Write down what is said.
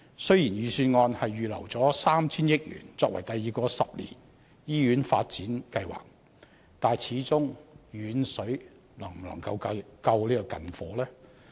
雖然預算案預留 3,000 億元予第二個十年醫院發展計劃，但始終遠水能否救近火？